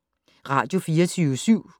Radio24syv